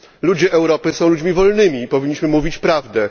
Ludzie Europy są ludźmi wolnymi i powinniśmy mówić prawdę.